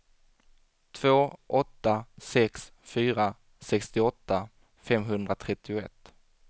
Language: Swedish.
två åtta sex fyra sextioåtta femhundratrettioett